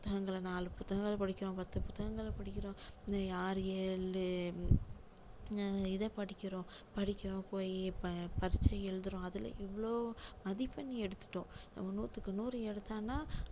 புத்தகங்களை நாலு புத்தகங்களை படிக்கிறோம் பத்து புத்தகங்களை படிக்கிறோம் ஆறு எழு அஹ் இதை படிக்கிறோம் படிக்கிறோம் போய் ப~பரீட்சை எழுதுறோம் அதுல இவ்ளோ மதிப்பெண் எடுத்துட்டோம் நூற்றுக்கு நூறு எடுத்தான்னா